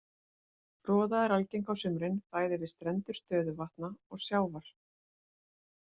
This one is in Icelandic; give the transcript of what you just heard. Froða er algeng á sumrin bæði við strendur stöðuvatna og sjávar.